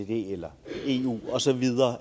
eller eu osv